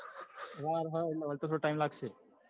વાર હ એટલે વળતા થોડો ટીમ લાગશે.